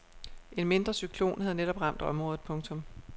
En mindre cyklon havde netop ramt området. punktum